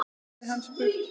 hafði hann spurt.